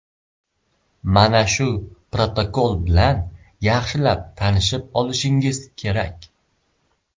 Mana shu protokol bilan yaxshilab tanishib olishingiz kerak.